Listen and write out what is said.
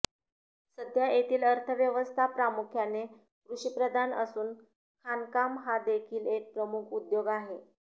सध्या येथील अर्थव्यवस्था प्रामुख्याने कृषीप्रधान असून खाणकाम हा देखील एक प्रमुख उद्योग आहे